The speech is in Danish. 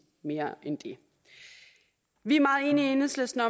mere end det vi er i enhedslisten